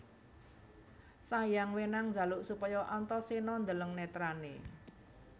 Sanghyang Wenang njaluk supaya Antaséna ndeleng netrané